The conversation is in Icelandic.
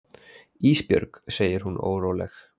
Ísbjörg, segir hún óróleg.